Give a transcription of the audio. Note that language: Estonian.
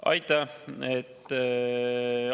Aitäh!